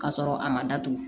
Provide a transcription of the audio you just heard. K'a sɔrɔ a ma datugu